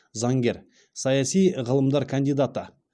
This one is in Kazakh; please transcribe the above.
заңгер саяси ғылымдар кандидаты